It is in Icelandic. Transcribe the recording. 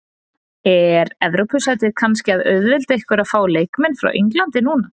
Er Evrópusætið kannski að auðvelda ykkur að fá leikmenn frá Englandi núna?